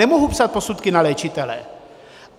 Nemohu psát posudky na léčitele.